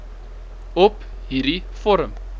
op hierdie vorm